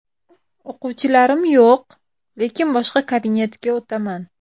O‘quvchilarim yo‘q, lekin boshqa kabinetga o‘taman.